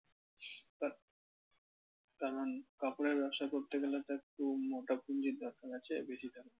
কারণ কাপড়ের ব্যবসা করতে গেলে তো একটু মোটা পুঞ্জির দরকার আছে বেশি